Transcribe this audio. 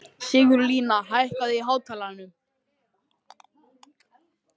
Sigurlína, hækkaðu í hátalaranum.